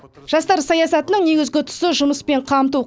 жастар саясатының негізгі тұсы жұмыспен қамту